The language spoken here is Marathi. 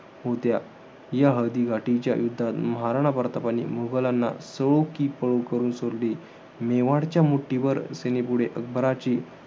होत्या. या हळदी घाटीच्या युद्धात महाराणा प्रताप यांनी मुघलांना, सळो कि पळो करून सोडले. मेवाडच्या मुठ्ठीभर सेनेपुढे अकबराचे,